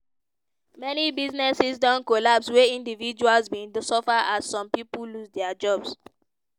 many businesses don collapse wia individuals bin suffer as some pipo lose dia jobs.